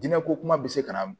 Diinɛ ko kuma bɛ se ka na